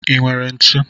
I nwere ntụ?